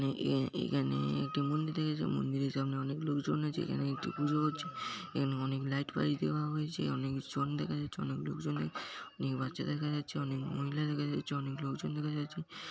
এখানে একটা মন্দির দেখা যাচ্ছে মন্দিরের সামনে অনেক লোকজন আছে এখানে একটি পুজো হচ্ছে এখানে অনেক লাইট পাইট দেওয়া হয়েছে অনেক জন দেখা যাচ্ছে অনেক লোকজনে অনেক বাচ্চা দেখা যাচ্ছে অনেক মহিলা দেখা যাচ্ছে অনেক লোকজন দেখা যাচ্ছে ।